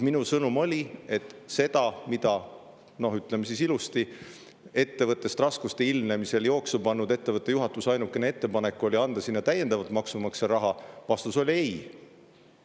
Minu sõnum oli – ütleme siis ilusti –, et ettevõttest raskuste ilmnemisel jooksu pannud ettevõtte juhatuse ainukene ettepanek oli anda sinna täiendavat maksumaksja raha ja vastus oli ei.